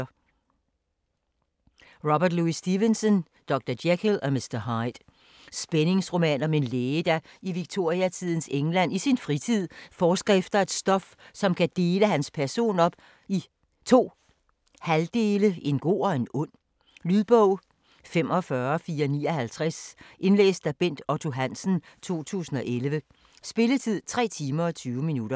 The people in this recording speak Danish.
Stevenson, R. L.: Dr. Jekyll og Mr. Hyde Spændingsroman om en læge, der i Victoriatidens England i sin fritid forsker efter et stof, som kan dele hans person op i 2 halvdele, en god og en ond. Lydbog 45459 Indlæst af Bent Otto Hansen, 2011. Spilletid: 3 timer, 20 minutter.